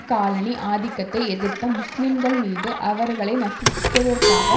colony ஆதிக்கத்தை எதிர்த்த முஸ்லீம்கள் மீது அவர்களை நசுக்குவதற்காக